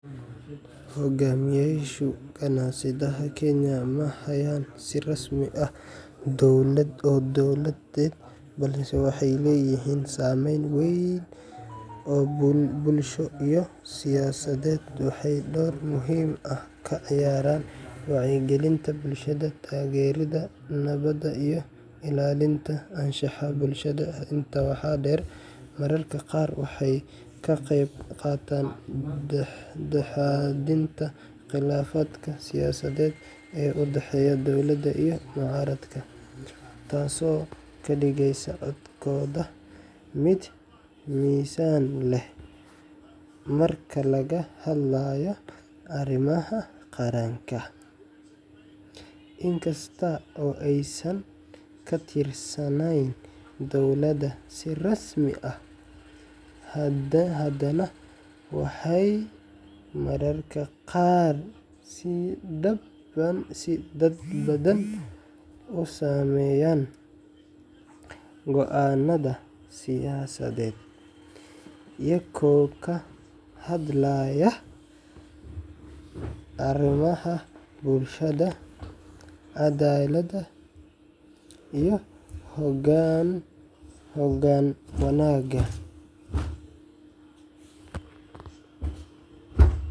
Hoggaamiyeyaasha kaniisadaha Kenya ma hayaan xil rasmi ah oo dowladeed, balse waxay leeyihiin saameyn weyn oo bulsho iyo siyaasadeed. Waxay door muhiim ah ka ciyaaraan wacyigelinta bulshada, taageeridda nabadda, iyo ilaalinta anshaxa bulshada. Intaa waxaa dheer, mararka qaar waxay ka qeyb qaataan dhexdhexaadinta khilaafaadka siyaasadeed ee u dhexeeya dowladda iyo mucaaradka, taasoo ka dhigaysa codkooda mid miisaan leh marka laga hadlayo arrimaha qaranka. Inkasta oo aysan ka tirsanayn dowladda si rasmi ah, haddana waxay mararka qaar si dadban u saameeyaan go’aanada siyaasadeed iyagoo ka hadlaya arrimaha bulshada, cadaaladda, iyo hoggaan wanaagga.